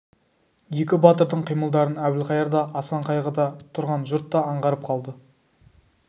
екі батырдың қимылдарын әбілқайыр да асан қайғы да тұрған жұрт та аңғарып қалды